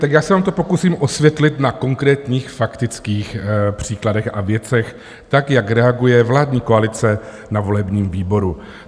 Tak já se vám to pokusím osvětlit na konkrétních faktických příkladech a věcech, tak jak reaguje vládní koalice na volebním výboru.